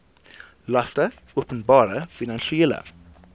laste openbare finansiële